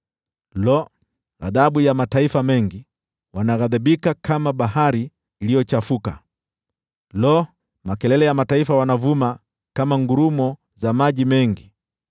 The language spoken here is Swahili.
Lo! Ghadhabu ya mataifa mengi, wanaghadhibika kama bahari iliyochafuka! Lo! Makelele ya mataifa wanavuma kama ngurumo za maji mengi!